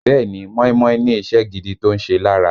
Bẹ́ẹ̀ ni, móímóí ní iṣẹ́ gidi tó ń ṣe lára